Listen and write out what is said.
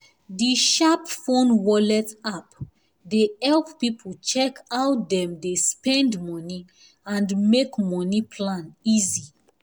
the sharp phone wallet app dey help people check how dem dey spend money and make money plan easy